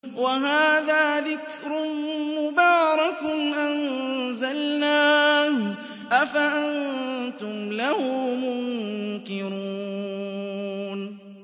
وَهَٰذَا ذِكْرٌ مُّبَارَكٌ أَنزَلْنَاهُ ۚ أَفَأَنتُمْ لَهُ مُنكِرُونَ